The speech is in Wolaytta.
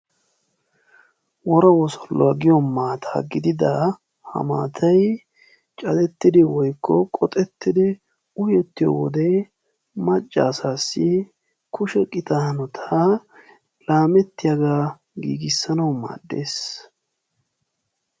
Wora wosolluwa gidida ha maatayi cadettidi woykko qoxettidi uyettiyo wode macca asaassi kushe qita hanotaa laamettiyagaa giigissanawu maaddes.